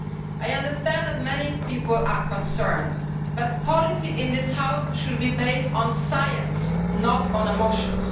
I understand that many people are concerned, but policy in this House should be based on science, not on emotions.